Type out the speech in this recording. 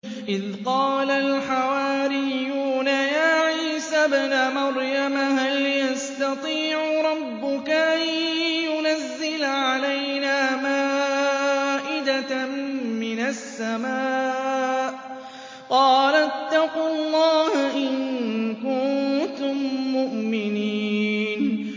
إِذْ قَالَ الْحَوَارِيُّونَ يَا عِيسَى ابْنَ مَرْيَمَ هَلْ يَسْتَطِيعُ رَبُّكَ أَن يُنَزِّلَ عَلَيْنَا مَائِدَةً مِّنَ السَّمَاءِ ۖ قَالَ اتَّقُوا اللَّهَ إِن كُنتُم مُّؤْمِنِينَ